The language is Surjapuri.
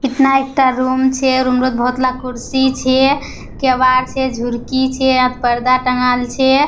इतना एकटा रूम छे। रूम रे बहुत ला कुर्सी छे केवाड़ छे झुरकी छे अ पर्दा टँगाल छे।